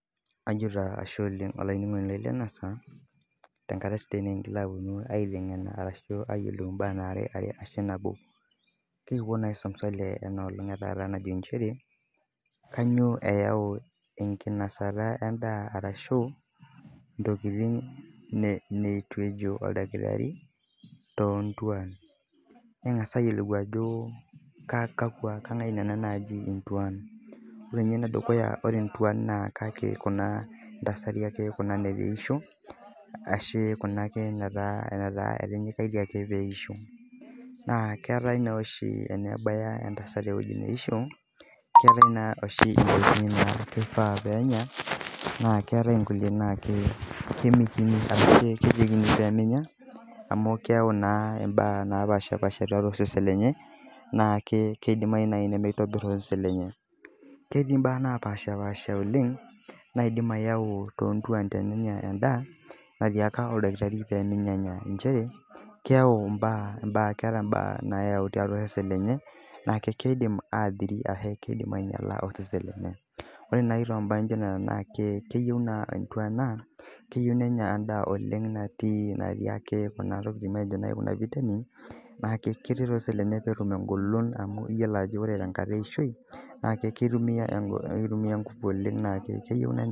Ajo taa ashe oleng olainining'oni lai le ena saa, tenakata sidia nikigira aponu aitengena arashu ayiolou imbaa naara are ashu nabo, ekipuo naa aisim esuali e enakata najo inchere kanyio eyau enkinasata endaa arashu ntokitin neitu ejo oldakitari too ntuan. Nikingas ayiolou ajo kakwa kengai nena naaji ntuan, ore ninye nedukuya naa ore ntuan naa kake naa ntasati ake kuna netu eisho ashu kuna ake nataa etinyikatie ake peeisho, naa keatae naa oshi nebaya intasati eweji neisho, kelelek naa oshi naa keifaa peenya naa keatae inkule naa kemikini ashu kejokini eminya amu keyau naa imbaa napaash pasha tiatua osesen lenye naa keidimai naa inya keitobir osesen lenye. Ketii imbaa napaashpaasha oleng naidim ayau too intuani tenenya endaa kake eitiaka oldakitari pemenya ninche inchere keyau imbaa, keata imbaa nayau tiatua osesen lenye naaku keidim aidiria ekedim ainyala osesen lenye. Ore nai te imbaa naijo nena naa keyeu naa entuan naa keyeu nenya endaa oleng natii ,natii ake kuna ntokitin tenaa kuna fitamin naa keret osesen lenye peetum engolon amu iyiolo ajo ore te nkata eishoi naaku ketumiy engufu oleng naa keyeu nenya.